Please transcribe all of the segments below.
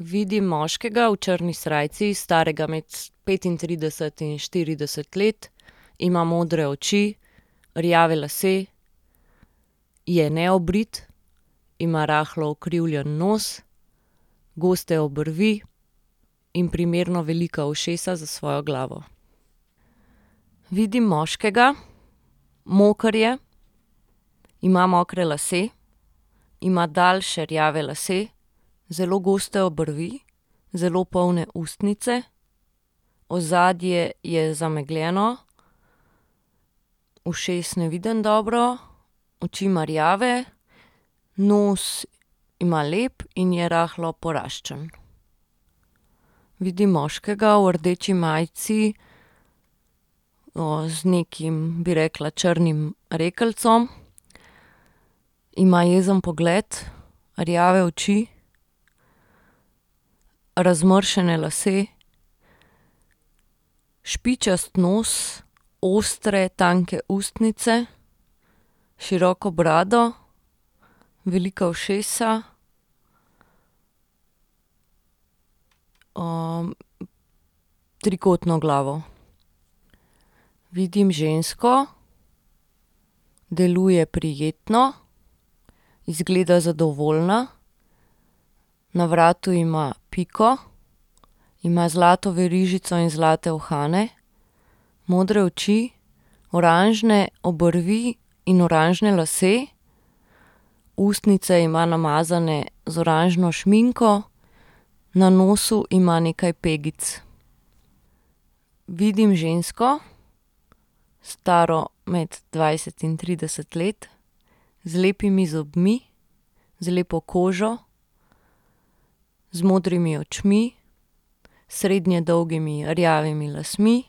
Vidim moškega v črni srajci, starega med petintrideset in štirideset let. Ima modre oči, rjave lase, je neobrit, ima rahlo ukrivljen nos, goste obrvi, in primerno velika ušesa za svojo glavo. Vidim moškega, moker je, ima mokre lase, ima daljše rjave lase, zelo goste obrvi, zelo polne ustnice, ozadje je zamegljeno, Ušes ne vidim dobro, oči ma rjave, nos ima lep in je rahlo poraščen. Vidim moškega v rdeči majici, z nekim, bi rekla črnim rekelcem. Ima jezen pogled, rjave oči, razmršene lase, špičast nos, ostre, tanke ustnice, široko brado, velika ušesa, trikotno glavo. Vidim žensko, deluje prijetno, izgleda zadovoljna, na vratu ima piko, ima zlato verižico in zlate uhane. Modre oči, oranžne obrvi in oranžne lase. Ustnice ima namazane z oranžno šminko, na nosu ima nekaj pegic. Vidim žensko, staro med dvajset in trideset let, z lepimi zobmi, z lepo kožo, z modrimi očmi, srednje dolgimi rjavimi lasmi.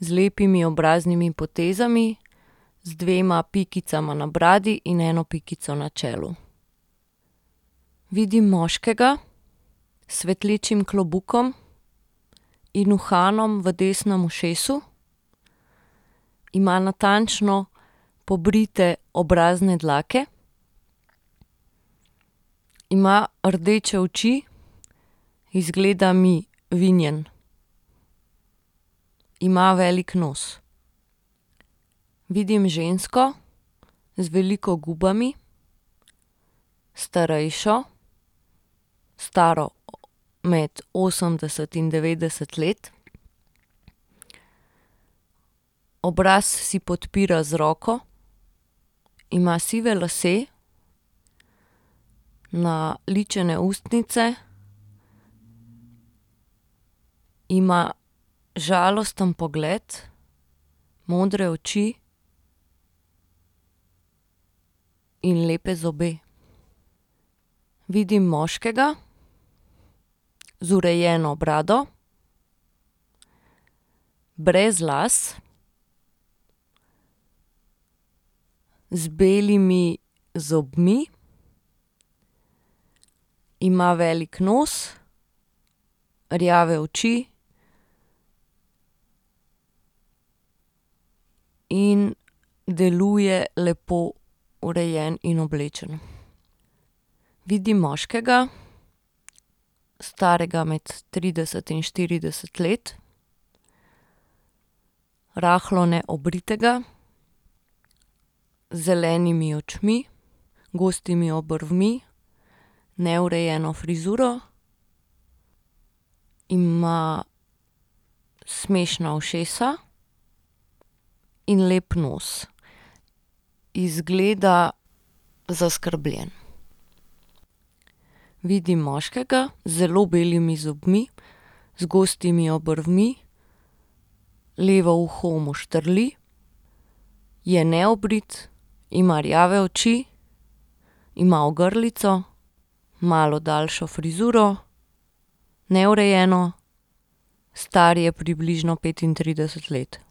Z lepimi obraznimi potezami, z dvema pikicama na bradi in eno pikico na čelu. Vidim moškega s svetlečim klobukom in uhanom v desnem ušesu. Ima natančno pobrite obrazne dlake. Ima rdeče oči, izgleda mi vinjen. Ima velik nos. Vidim žensko z veliko gubami. Starejšo, staro med osemdeset in devetdeset let. Obraz si podpira z roko. Ima sive lase. Naličene ustnice. Ima žalosten pogled, modre oči in lepe zobe. Vidim moškega z urejeno brado, brez las, z belimi zobmi. Ima velik nos, rjave oči in deluje lepo urejen in oblečen. Vidim moškega, starega med trideset in štirideset let, rahlo neobritega, z zelenimi očmi, gostimi obrvmi, neurejeno frizuro. Ima smešna ušesa in lep nos. Izgleda zaskrbljen. Vidim moškega z zelo belimi zobmi, z gostimi obrvmi levo uho mu štrli, je neobrit, ima rjave oči, ima ogrlico, malo daljšo frizuro, neurejeno. Star je približno petintrideset let.